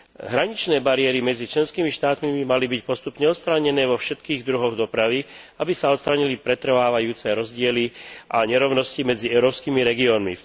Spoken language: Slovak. Hraničné bariéry medzi členskými štátmi by mali byť postupne odstránené vo všetkých druhoch dopravy, aby sa odstránili pretrvávajúce rozdiely a nerovnosti medzi európskymi regiónmi.